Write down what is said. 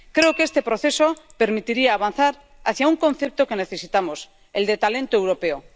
Creo que este proceso permitiría avanzar hacia un concepto que necesitamos el de talento europeo.